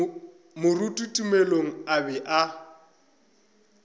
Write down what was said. moruti tumelo a be a